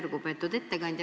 Lugupeetud ettekandja!